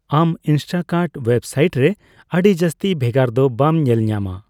ᱟᱢ Instacart website ᱨᱮ ᱟᱹᱰᱤ ᱡᱟᱹᱥᱛᱤ ᱵᱷᱮᱜᱟᱨ ᱫᱚ ᱵᱟᱢ ᱧᱮᱞᱧᱟᱢᱟ ᱾